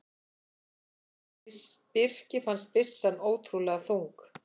Birki fannst byssan ótrúlega þung.